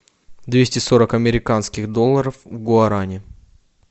двести сорок американских долларов в гуарани